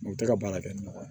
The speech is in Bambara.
U tɛ ka baara kɛ ni nɔgɔ ye